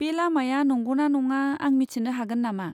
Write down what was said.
बे लामाया नंगौ ना नङा आं मिथिनो हागोन नामा?